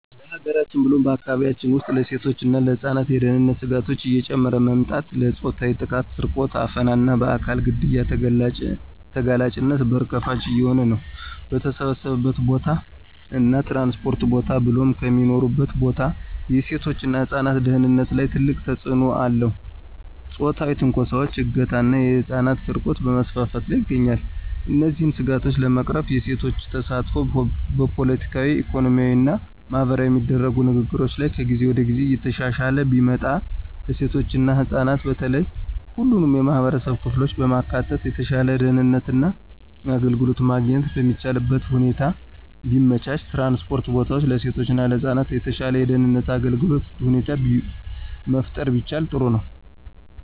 በሀገራችን ብሎም በአካባቢያችን ውስጥ ለሴቶች እና ለህፃናት የደህንነት ስጋቶች እየጨመረ መምጣት ለፆታዊ ጥቃት፣ ስርቆት፣ አፈና እና በአካል ግድያ ተጋላጭነት በር ከፋች እየሆነ ነው። በተሰበሰበበት ቦታ እና ትራንስፖርት ቦታ ብሎም ከሚኖሩበት ቦታ የሴቶች እና ህፃናት ደህንነት ላይ ትልቅ ተጽእኖ አለው ፆታዊ ትንኮሳዎች፣ እገታ ና የህፃናት ስርቆት በመስፋፋት ላይ ይገኛል። እነዚህን ስጋቶች ለመቅረፍ የሴቶች ተሳትፎ በፖለቲካዊ፣ ኢኮኖሚያዊ እና ማህበራዊ የሚደረጉ ንግግሮች ላይ ከጊዜ ወደ ጊዜ እየተሻሻለ ቢመጣ፣ ለሴቶች እና ህፃናት በተለየ ሁሉንም የማህበረሰብ ክፍሎች በማካተት የተሻለ ደህንነት እና አገልግሎት ማግኘት የሚቻልበትን ሁኔታ ቢመቻች፣ ትራንስፖርት ቦታዎች ለሴቶች እና ለህፃናት የተሻለ የደህንነት እና አገልግሎት ሁኔታ መፍጠር ቢቻል ጥሩ ነው።